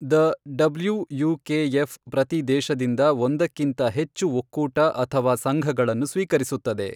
The WUKF ಪ್ರತಿ ದೇಶದಿಂದ ಒಂದಕ್ಕಿಂತ ಹೆಚ್ಚು ಒಕ್ಕೂಟ ಅಥವಾ ಸಂಘಗಳನ್ನು ಸ್ವೀಕರಿಸುತ್ತದೆ.